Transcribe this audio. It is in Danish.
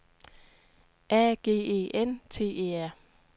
A G E N T E R